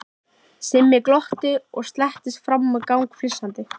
Simmi glotti og slettist fram á gang flissandi.